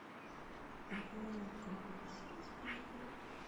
ооо компьютер сервис поехали